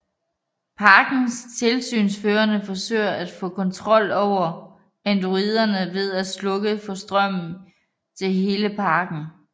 Parkens tilsynsførende forsøger at få kontrol over androiderne ved at slukke for strømmen til hele parken